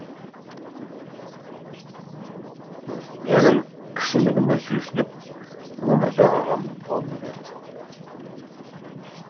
менің кішілігіме сүйсініп өмірзақ ағам қолын берді